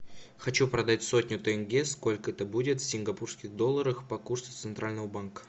хочу продать сотню тенге сколько это будет в сингапурских долларах по курсу центрального банка